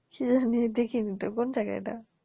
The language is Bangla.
কি জানি দেখিনিতো কোন জায়গায় এটা?